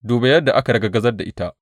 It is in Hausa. Duba yadda aka ragargazar ta ita!